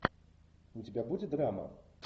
у тебя будет драма